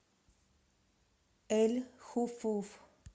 эль хуфуф